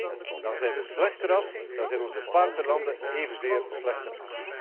Nee, dan zijn we slechter af, dan zijn onze partnerlanden evenzeer slechter af.